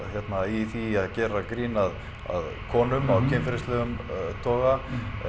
í því að gera grín að konum af kynferðislegum toga